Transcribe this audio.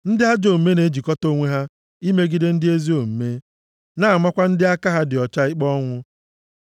Ndị ajọ omume na-ejikọta onwe ha imegide ndị ezi omume na-amakwa ndị aka ha dị ọcha ikpe ọnwụ.